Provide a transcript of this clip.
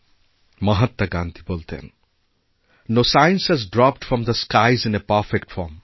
মহাত্মা গান্ধী বলতেন no science has dropped from the skies in a perfect form